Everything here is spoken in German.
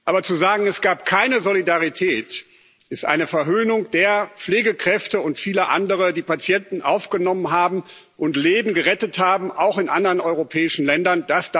Aber zu sagen, es gab keine Solidarität, ist eine Verhöhnung der Pflegekräfte und vieler anderer, die Patienten aufgenommen haben und Leben gerettet haben, auch in anderen europäischen Ländern.